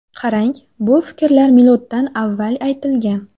Qarang, bu fikrlar miloddan avval aytilgan.